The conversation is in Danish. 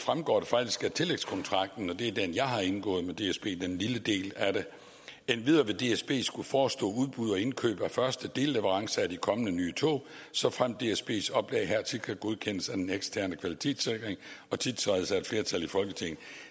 fremgår det faktisk af tillægskontrakten og det er den jeg har indgået med dsb den lille del af det endvidere vil dsb skulle forestå udbud og indkøb af første delleverance af de kommende nye tog såfremt dsb’s oplæg hertil kan godkendes af den eksterne kvalitetssikring og tiltrædes af et flertal i folketinget